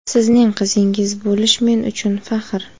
Sizning qizingiz bo‘lish men uchun faxr.